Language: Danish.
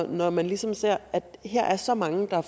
når man ligesom ser at der her er så mange der